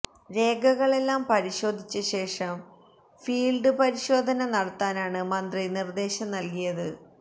രേഖകളെല്ലാം പരിശോധിച്ച ശേഷം ഫീല്ഡ് പരിശോധന നടത്താനാണ് മന്ത്രി നിര്ദ്ദേശം നല്കിയത്